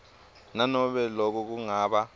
nanobe loko kungaba